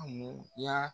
A mun ya